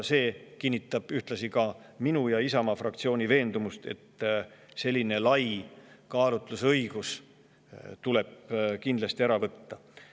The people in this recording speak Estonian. See kinnitab ühtlasi minu ja Isamaa fraktsiooni veendumust, et selline lai kaalutlusõigus tuleb kindlasti ära võtta.